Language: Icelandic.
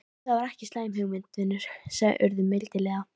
Það er ekki slæm hugmynd, vinur sagði Urður mildilega.